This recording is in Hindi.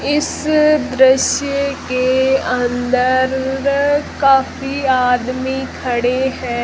इस दृश्य के अंदर काफी आदमी खड़े हैं।